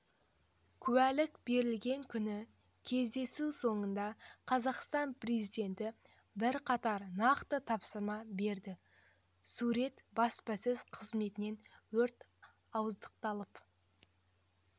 куәліктің берілген күні кездесу соңында қазақстан президенті бірқатар нақты тапсырма берді сурет баспасөз қызметінен өрт ауыздықталып